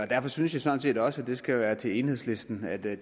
derfor synes jeg sådan set også og det skal være sagt til enhedslisten at det